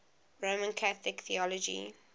roman catholic theology